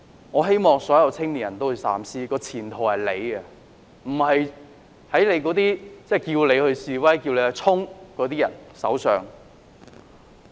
我希望所有青年人三思，前途在你們手上，不要放在那些叫你示威或向前衝的人手上。